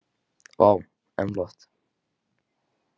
Vá, en flott.